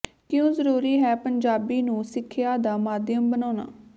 ਕਿਉਂ ਜ਼ਰੂਰੀ ਹੈ ਪੰਜਾਬੀ ਨੂੰ ਸਿੱਖਿਆ ਦਾ ਮਾਧਿਅਮ ਬਣਾਉਣਾ